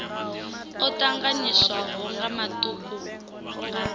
o tanganyiswaho nga matuku nga